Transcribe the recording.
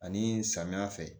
Ani samiyɛ fɛ